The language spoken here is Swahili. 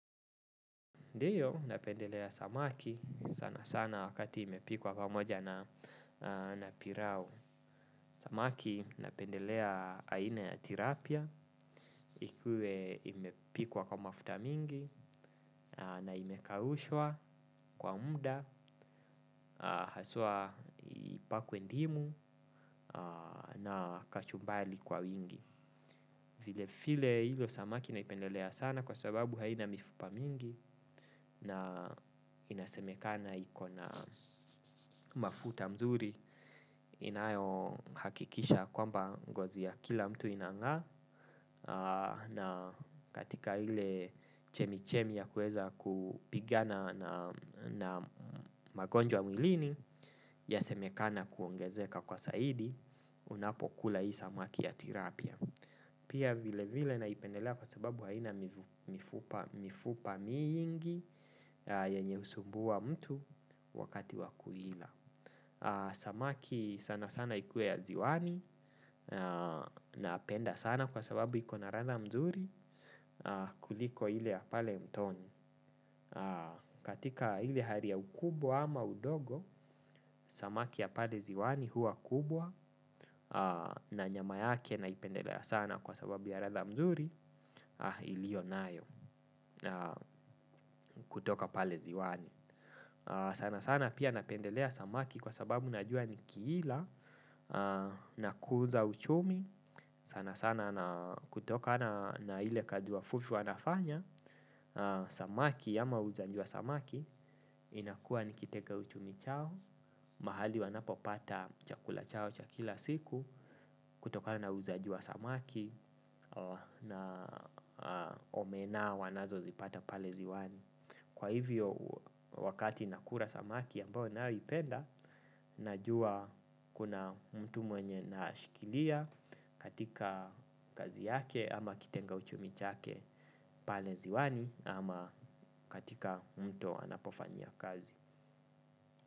Ndiyo napendelea samaki sana sana wakati imepikwa pamoja na pilau. Samaki napendelea aina ya tilapia, ikue imepikwa kwa mafuta mingi, na imekaushwa kwa muda, haswa ipakwe ndimu na kachumbari kwa wingi. Vile vile hizo samaki naipendelea sana kwa sababu haina mifupa mingi na inasemekana iko na mafuta mzuri inayohakikisha kwamba ngozi ya kila mtu inangaa na katika ile chemichemi ya kuweza kupigana na magonjwa mwilini yasemekana kuongezeka kwa zaidi unapokula hii samaki ya tilapia. Pia vile vile naipendelea kwa sababu haina mifupa mingi. Yenye husumbua mtu wakati wakuila. Samaki sana sana ikuwe ya ziwani. Napenda sana kwa sababu iko na ladha mzuri. Kuliko ile ya pale mtoni. Katika ile hali ya ukubwa ama udogo samaki ya pale ziwani huwa kubwa. Na nyama yake naipendelea sana kwa sababu ya ratha mzuri. Ilionayo kutoka pale ziwani. Sana sana pia napendelea samaki kwa sababu najua nikiila nakuza uchumi sana sana kutokana na ile kazi wavuvi wanafanya. Samaki ama muuzaji wa samaki inakuwa nikiteka uchumi chao. Mahali wanapopata chakula chao cha kila siku kutokana na uuzaji wa samaki na omena wanazozipata pale ziwani. Kwa hivyo wakati nakula samaki ambao ninaoipenda. Najua kuna mtu mwenye nashikilia katika kazi yake ama kitenga uchumi chake pale ziwani ama katika mto anapofanyia kazi.